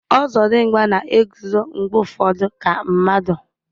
Ozodimgba na-eguzo mgbe ụfọdụ ka mmadụ